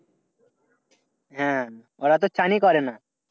হ্যাঁ ওরা তো চ্যানই করে না।